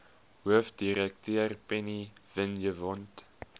hoofdirekteur penny vinjevold